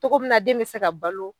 Cogo min na den be se ka balo